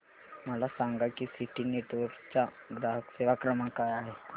मला सांगा की सिटी नेटवर्क्स चा ग्राहक सेवा क्रमांक काय आहे